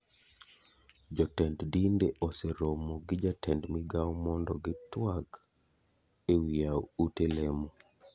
Jo tend dinde oseromo gi ja tend migao mondo gi tuak ewi yawo ute lemo.